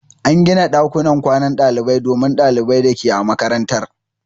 An gina ɗakunan kwanan dalibai domin ɗalibai da ke a makarantar.